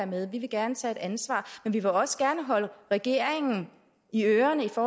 med vi vil gerne tage et ansvar men vi vil også gerne holde regeringen i ørerne så